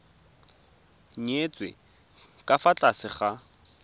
nyetswe ka fa tlase ga